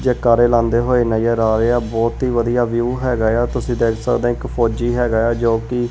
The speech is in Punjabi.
ਜੈਕਾਰੇ ਲਾਉਂਦੇ ਹੋਏ ਨਜ਼ਰ ਆ ਰਹੇ ਆ ਬਹੁਤ ਹੀ ਵਧੀਆ ਵਿਊ ਹੈਗਾ ਏ ਆ ਤੁਸੀਂ ਦੇਖ ਸਕਦੇ ਆਂ ਇੱਕ ਫੌਜੀ ਹੈਗਾ ਏ ਆ ਜੋ ਕਿ--